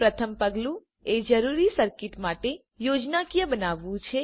પ્રથમ પગલું એ જરૂરી સર્કિટ માટે યોજનાકીય બનાવવાનું છે